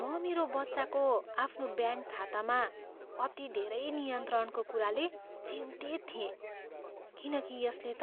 म मेरो बच्चाको आफ्नो ब्याङ्क खातामा अति धेरै नियन्त्रणको कुराले चिन्तित थिएँ किनकि यसले त